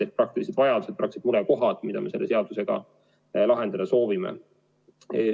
On praktilised vajadused, praktilised murekohad, mida me selle seadusega lahendada soovime.